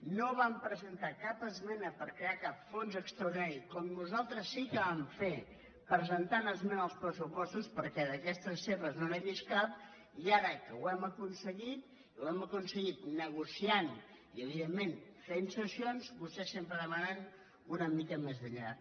no van presentar cap esmena per crear cap fons extraordinari com nosaltres sí que vam fer presentant esmena als pressupostos perquè d’aquestes seves no n’he vist cap i ara que ho hem aconseguit i ho hem aconseguit negociant i evidentment fent cessions vostès sempre demanen una mica més enllà